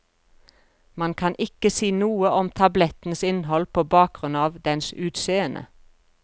Man kan ikke si noe om tablettens innhold på bakgrunn av dens utseende.